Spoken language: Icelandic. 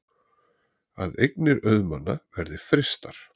Að eignir auðmanna verði frystar.